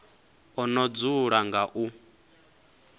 o no dzula nga u